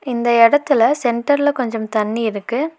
இந்த எடத்துல சென்டர்ல கொஞ்சம் தண்ணி இருக்கு.